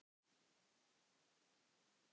Jæja, þetta slapp.